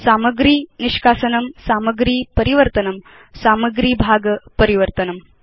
सामग्री निष्कासनं सामग्री परिवर्तनं सामग्री भाग परिवर्तनम्